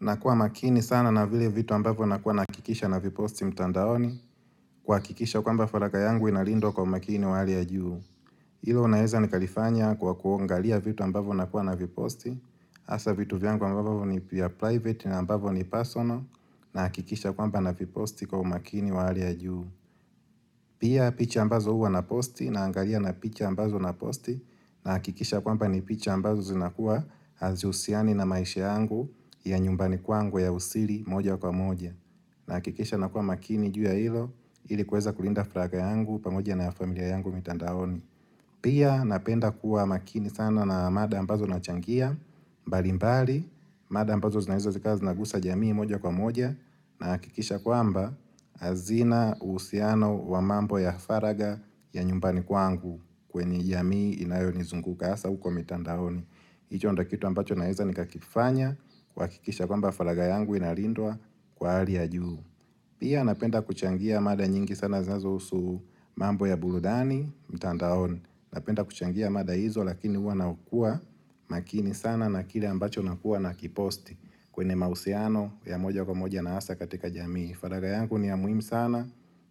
Nakuwa makini sana na vile vitu ambavyo nakuwa nahakikisha naviposti mtandaoni kuhakikisha kwamba faragha yangu inalindwa kwa umakini wa hali ya juu. Hilo naeza nikalifanya kwa kuangalia vitu ambavo nakuwa naviposti hasa vitu vyangu ambavo ni pia private na ambavo ni personal nahakikisha kwamba naviposti kwa umakini wa hali ya juu. Pia picha ambazo huwa naposti naangalia na picha ambazo naposti nahakikisha ya kwamba ni picha ambazo zinakuwa hazihusiani na maisha yangu ya nyumbani kwangu ya usiri moja kwa moja nahakikisha nakuwa makini juu ya hilo ili kuweza kulinda faragha yangu pamoja na familia yangu mitandaoni pia napenda kuwa makini sana na mada ambazo nachangia mbalimbali mada ambazo zinaeza zikawa zinaguza jamii moja kwa moja nahakikisha ya kwamba hazina uhusiano wa mambo ya faragha ya nyumbani kwangu kwenye jamii inayonizunguka hasa huko mitandaoni hicho ndio kitu ambacho naeza nikakifanya kuhakikisha ya kwamba faragha yangu inalindwa kwa hali ya juu Pia napenda kuchangia mada nyingi sana zinazo usu mambo ya burudani mitandaoni Napenda kuchangia mada hizo lakini uwa na ukuwa makini sana na kile ambacho nakua na kiposti kwenye mausiano ya moja kwa moja na hasa katika jamii faraga yangu ni ya muhimu sana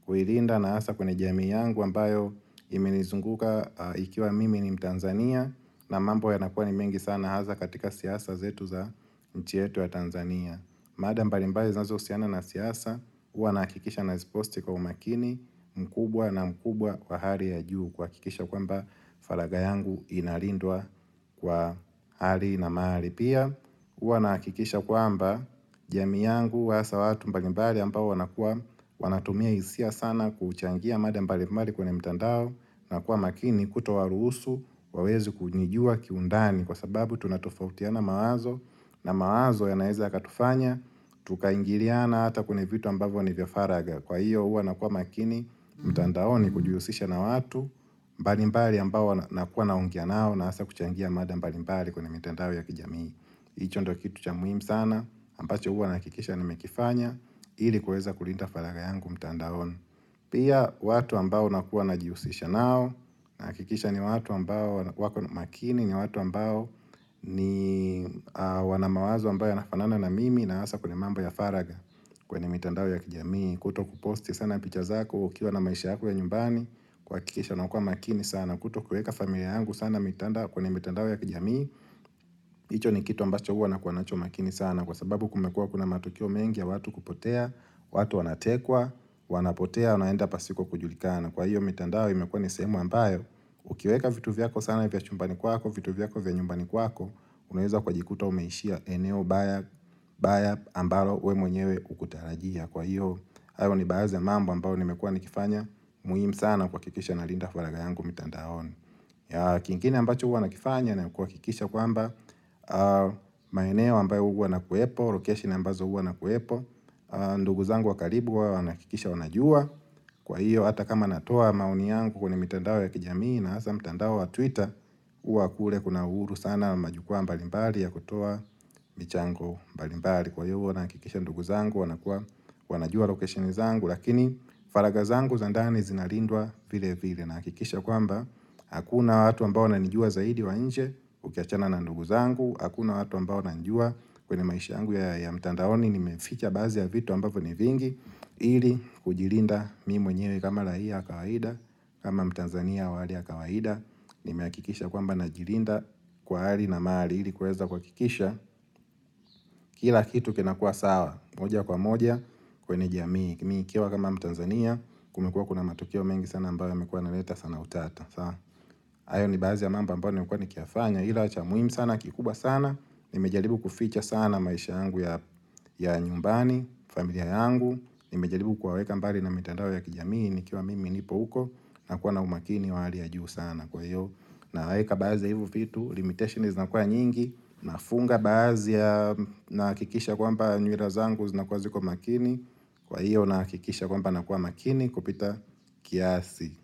huilinda na hasa kwenye jamii yangu ambayo imenizunguka ikiwa mimi ni mtanzania na mambo ya nakuwa ni mengi sana hasa katika siasa zetu za nchi yetu ya tanzania mada mbali mbali zinazousiana na siasa, uwa naakikisha nasiposti kwa umakini mkubwa na mkubwa kwa hali ya juu kuakikisha kwamba falaga yangu inalindwa kwa hali na mahali. Pia uwa naakikisha kwamba jamii yangu hasa watu mbalimbali ambao wanatumia isia sana kuchangia mada mbalimbali kwenye mtandao na kuwa makini kuto waruhusu wawezi kunijua kiundani. Kwa sababu tunatofautiana mawazo na mawazo ya naeza yakatufanya, tukaingiriana hata kwenye vitu ambavo ni vya faraga. Kwa hiyo uwa nakuwa makini mtandao ni kujiusisha na watu mbalimbali ambao nakua naongea nao na hasa kuchangia mada mbalimbali kwenye mitandao ya kijamii. Hicho ndo kitu cha muhimu sana, ambacho huwa naakikisha ni mekifanya, ili kueza kulinda faraga yangu mtandaoni. Pia watu ambao nakuwa na jiusisha nao, naakikisha ni watu ambao, wako makini ni watu ambao ni wana mawazo ambayo ya nafanana na mimi na hasa kwenye mambo ya faraga kwenye mitandao ya kijamii. Kuto kuposti sana picha zako ukiwa na maisha yako ya nyumbani, kuakikisha nakuwa makini sana, kuto kueka familia yangu sana mitandao ya kijamii. Hicho ni kitu ambacho huwa na kuwa nachomakini sana Kwa sababu kumekuwa kuna matukio mengi ya watu kupotea watu wanatekwa, wanapotea, unaenda pasiko kujulikana Kwa hiyo mitandao imekuwa nisehemu ambayo Ukiweka vitu vyako sana vya chumbani kwako, vitu vyako vya nyumbani kwako Unaweza ukajikuta umeishia eneo baya ambayo we mwenyewe hukutarajia Kwa hiyo, ayo ni baadhi ya mambo ambayo nimekuwa nikifanya muhimu sana kuakikisha na linda faraga yangu mtandaoni ya kingine ambacho uwa nakifanya na kuwa kikisha kwa mba maeneo ambayo uwa nakuwepo, location ambazo uwa nakuwepo ndugu zangu wa karibu huwa naakikisha wanajua Kwa hiyo ata kama natoa maoni yangu kwenye mitandao ya kijamii na hasa mtandao wa twitter Uwa kule kuna uhuru sana na majukwaa mbalimbali ya kutoa michango mbalimbali Kwa hiyo huwa naakikisha ndugu zangu wanakuwa wanajua location zangu Lakini faraga zangu za ndani zinalindwa vile vile na hakikisha kwamba Hakuna watu ambao wananijua zaidi wanje ukiachana na ndugu zangu Hakuna watu ambao najua kwenye maisha yangu ya mtandaoni Nimeficha baadhi ya vitu ambavo ni vingi ili kujilinda mimi mwenyewe kama raia wa kawaida kama mtanzania wali ya kawaida Nimeakikisha kwamba najilinda kwa hali na mali ili kuweza kuakikisha Kila kitu kinakuwa sawa moja kwa moja kwenye jamii Mikiwa kama mtanzania kumekuwa kuna matukio mengi sana ambayo yamekuwa yana leta sana utata hayo ni baazi ya mambo ambayo nimekuwa nikiyafanya Hila cha muhimu sana kikubwa sana Nimejaribu kuficha sana maisha yangu ya nyumbani, familia yangu Nimejaribu kuwaweka mbali na mitandao ya kijamii Nikiwa mimi nipo uko na kuwa na umakini wa hali ya juu sana kwa hiyo na weka baazi ya hivo vitu, limitations zina kuwa nyingi na funga baazi ya naakikisha kwa mba nywilazangu zina kuwa ziko makini Kwa hiyo naakikisha kwamba na kuwa makini kupita kiasi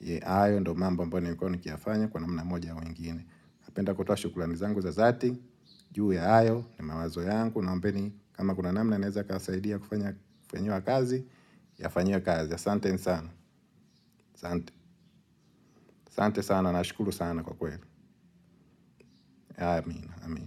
Ye ayo ndo mambo ambayo nimekuwa ni kiyafanya Kwa namna moja au nyingine napenda kutoa shukrani zangu za zati juu ya ayo na mawazo yangu nao mbeni kama kuna namna naeza kasaidia Kufanyiwa kazi Yafanyiwe kazi asanteni sana aSante sana na shukulu sana kwa kweli Amin.